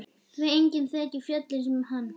Því enginn þekkir fjöllin sem hann.